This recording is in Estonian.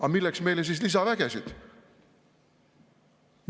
Aga milleks meile siis lisavägesid?